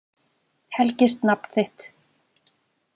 Helgist nafn þitt.